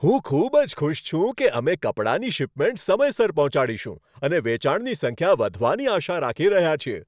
હું ખૂબ જ ખુશ છું કે અમે કપડાંની શિપમેન્ટ સમયસર પહોંચાડીશું અને વેચાણની સંખ્યા વધવાની આશા રાખી રહ્યા છીએ.